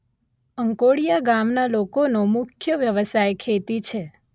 અંકોડીયા ગામના લોકોનો મુખ્ય વ્યવસાય ખેતી છે